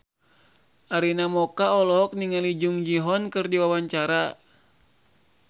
Arina Mocca olohok ningali Jung Ji Hoon keur diwawancara